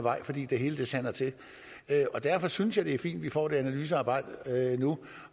vej fordi det hele sander til derfor synes jeg det er fint at vi får det analysearbejde nu